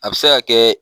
A bɛ se ka kɛ